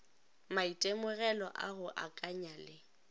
maitemogelo a go akanya le